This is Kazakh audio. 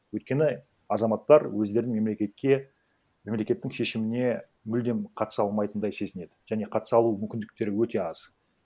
өйткені азаматтар өздерін мемлекетке мемлекеттің шешіміне мүлдем қатыса алмайтындай сезінеді және қатыса алу мүмкіндіктері өте аз